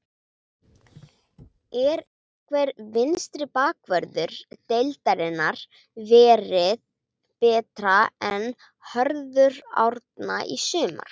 Er einhver vinstri bakvörður deildarinnar verið betri en Hörður Árna í sumar?